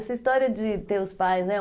Essa história de ter os pais, né?